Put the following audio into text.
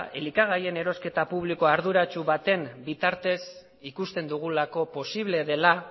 elikagaien erosketa publiko arduratsu baten bitartez ikusten dugulako posible dela